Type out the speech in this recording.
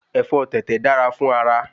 Ẹ̀fọ́ tẹ̀tẹ̀ dára fún ara